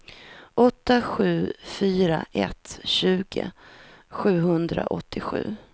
åtta sju fyra ett tjugo sjuhundraåttiosju